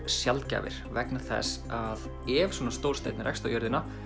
sjaldgæfir vegna þess að ef svona stór steinn rekst á jörðina